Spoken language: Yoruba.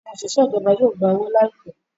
Àwọn òṣìṣẹ́ ìjọba yíò gbá owo láìpé